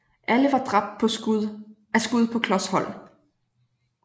Alle var dræbt af skud på klos hold